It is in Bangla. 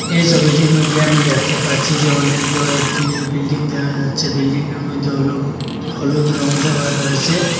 এই ছবিটির মইধ্যে আমি দেখতে পাচ্চি যে অনেক বড়ো একটি বিল্ডিং দেহা যাচ্চে বিল্ডিংয়ে র মইধ্যে অলুগ হলুদ রং দেওয়া রয়েসে ।